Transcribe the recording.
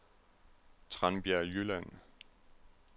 Tranbjerg Jylland